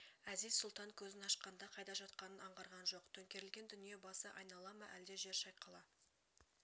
әзиз-сұлтан көзін ашқанда қайда жатқанын аңғарған жоқ төңкерілген дүние басы айнала ма әлде жер шайқала